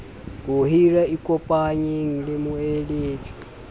ho hira ikopanyeng le moeletsi